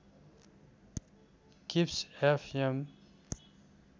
किब्स FM